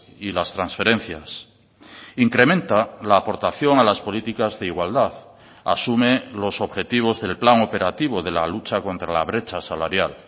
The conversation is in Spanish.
y las transferencias incrementa la aportación a las políticas de igualdad asume los objetivos del plan operativo de la lucha contra la brecha salarial